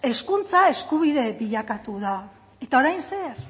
hezkuntza eskubide bilakatu da eta orain zer